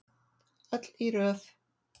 Öll í röð.